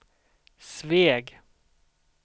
Sveg